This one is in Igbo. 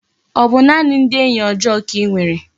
O bu naani ndi enyi ojoo ka inwere?